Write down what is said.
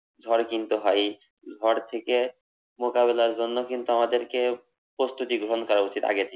ঝড় কিন্তু হয়। এই ঝড় থেকে মোকাবেলার জন্য কিন্তু আমাদেরকে প্রস্তুতি গ্রহন করা উচিত আগে থেকেই।